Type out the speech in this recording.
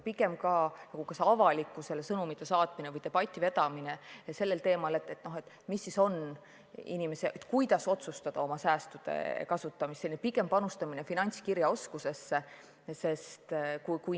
Tähtis on ka avalikkusele teatud sõnumite saatmine või debati vedamine sellel teemal, kuidas võiks planeerida oma säästude kasutamist – selline pikaajaline panustamine finantskirjaoskusesse.